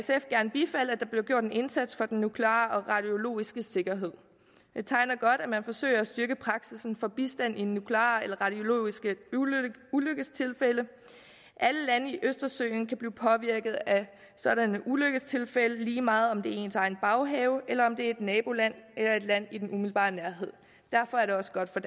der bliver gjort en indsats for den nukleare og radiologiske sikkerhed det tegner godt at man forsøger at styrke praksis for bistand i nukleare og radiologiske ulykkestilfælde alle lande omkring østersøen kan blive påvirket af sådanne ulykkestilfælde lige meget om det sker i ens egen baghave eller om det et naboland eller et land i den umiddelbare nærhed derfor er det også godt for